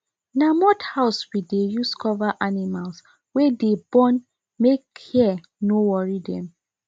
na mud house we deh use cover animals wey dey born make hear no worry dem